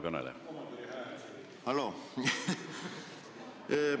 Halloo!